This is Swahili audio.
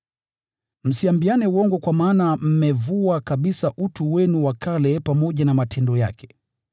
Msiambiane uongo, kwa maana mmevua kabisa utu wenu wa kale pamoja na matendo yake,